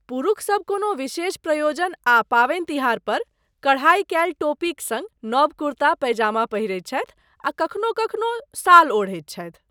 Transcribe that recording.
पुरूषसब कोनो विशेष प्रयोजन आ पावनि तिहार पर कढ़ाई कयल टोपीक सङ्ग नब कुर्ता पैजामा पहिरैत छथि आ कखनो कखनो शाल ओढ़ैत छथि।